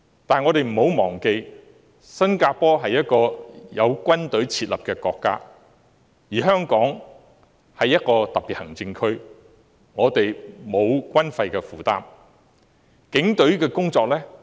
但是，我們不要忘記，新加坡是有設立軍隊的國家，而香港是一個特別行政區，我們沒有軍費的負擔。